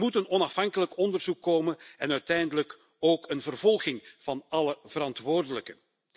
Er moet een onafhankelijk onderzoek komen en uiteindelijk ook een vervolging van alle verantwoordelijken.